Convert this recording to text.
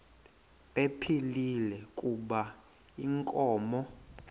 ephilile kuba inkomo